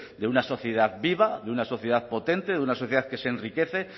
de una sociedad viva de una sociedad potente de una sociedad que se enriquece